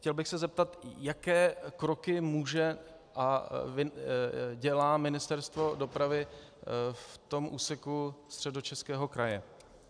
Chtěl bych se zeptat, jaké kroky může a dělá Ministerstvo dopravy v tom úseku Středočeského kraje.